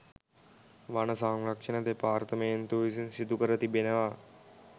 වන සංරක්ෂණ දෙපාර්තමේන්තුව විසින් සිදුකර තිබෙනවා.